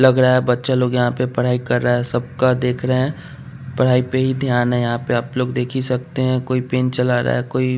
लग रहा है बच्चा लोग यहाँ पे पढ़ाई कर रहा है सबका देख रहे है पढ़ाई पे ही ध्यान है यहाँ पे आप लोग देख ही सकते है कोई पेन चला रहा है कोई --